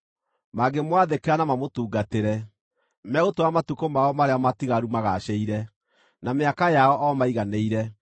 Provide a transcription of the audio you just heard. Mangĩmwathĩkĩra na mamũtungatĩre, megũtũũra matukũ mao marĩa matigaru magaacĩire, na mĩaka yao o maiganĩire.